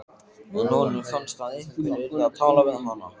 En honum fannst að einhver yrði að tala við hana.